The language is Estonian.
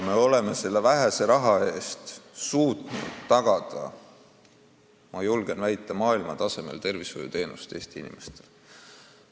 Ometi oleme selle vähese rahaga suutnud tagada, julgen väita, maailmatasemel tervishoiuteenused Eesti inimestele.